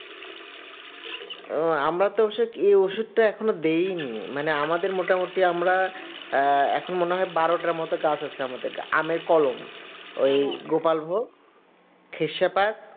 ও আমরা তো কি ওই ওষুধটা এখনো দিইনি মানে আমাদের মোটামুটি আমরা এখন মনে হয় বারোটার মতো গাছ আছে আমাদের আমের কলম ওই গোপালভোগ খেচ্ছা পাক